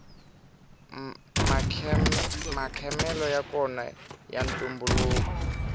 makhele yakona ya ntumbuluko